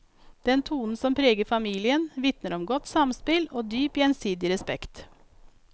Den tonen som preger familien, vitner om godt samspill og dyp gjensidig respekt.